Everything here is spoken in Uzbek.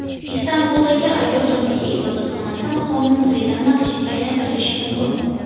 Istanbuldagi Ayo Sofiya ibodatxonasi maqomi muzeydan masjidga aylantirilishi mumkin.